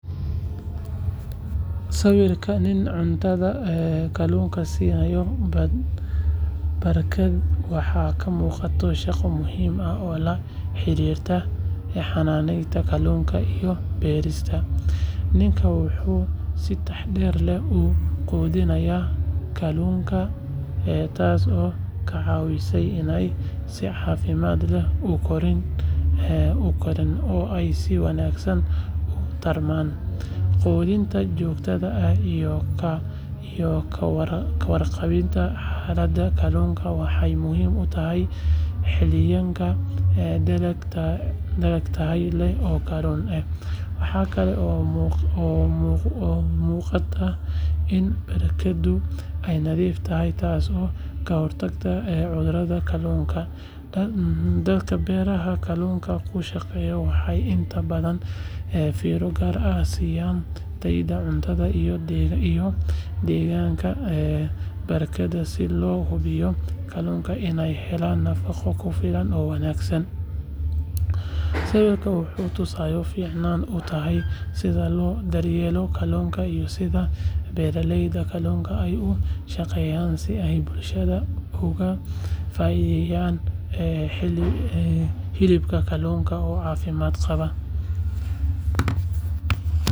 Sawirka nin cuntada kalluunka siiya barkadda waxaa ka muuqata shaqo muhiim ah oo la xiriirta xanaanada kalluunka iyo beerista. Ninkani wuxuu si taxadar leh u quudinayaa kalluunka, taasoo ka caawinaysa inay si caafimaad leh u koraan oo ay si wanaagsan u tarmaan. Quudinta joogtada ah iyo ka warqabidda xaaladda kalluunka waxay muhiim u tahay helitaanka dalag tayo leh oo kalluun ah. Waxa kale oo muuqata in barkaddu ay nadiif tahay, taasoo ka hortagaysa cudurrada kalluunka. Dadka beerta kalluunka ku shaqeeya waxay inta badan fiiro gaar ah siiyaan tayada cuntada iyo deegaanka barkadda si loo hubiyo in kalluunka ay helaan nafaqo ku filan oo wanaagsan. Sawirkan wuxuu tusaale fiican u yahay sida loo daryeelo kalluunka iyo sida beeraleyda kalluunka ay u shaqeeyaan si ay bulshadu uga faa’iideysato hilibka kalluunka oo caafimaad qaba.